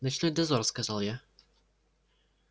ночной дозор сказал я